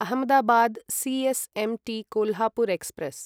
Ahmedabad C S M T Kolhapur express